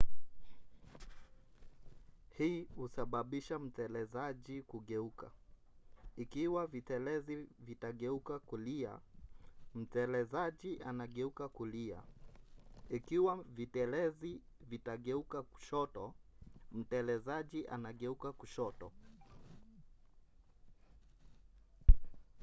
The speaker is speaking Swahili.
hii husababisha mtelezaji kugeuka. ikiwa vitelezi vitageuka kulia mtelezaji anageuka kulia ikiwa vitelezi vitageuka kushoto mtelezaji anageuka kushoto